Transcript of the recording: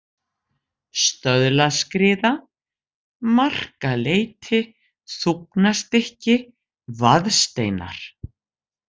Stöðlaskriða, Markaleiti, Þúfnastykki, Vaðsteinar